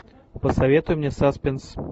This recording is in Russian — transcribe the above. посоветуй мне саспенс